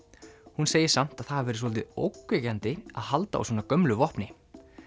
hún segir samt að það hafi verið svolítið ógnvekjandi að halda á svona gömlu vopni